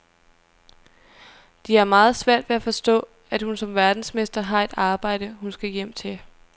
De har meget svært ved at forstå, at hun som verdensmester har et arbejde, hun skal hjem til.